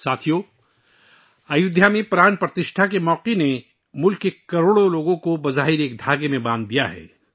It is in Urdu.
ساتھیو، ایسا لگتا ہے کہ ایودھیا میں پران پرتشٹھا کا موقع ایک مشترکہ تانے بانے میں پرویا گیا ہے، ملک کے کروڑوں لوگ ایک ساتھ ہیں